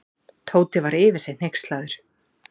Tóti var yfir sig hneykslaður.